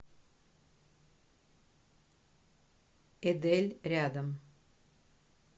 эдель рядом